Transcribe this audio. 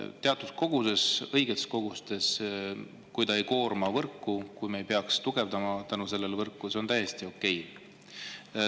Teatud koguses, õigetes kogustes, kui ta ei koorma võrku, kui me ei peaks selle tõttu tugevdama võrku – see on täiesti okei.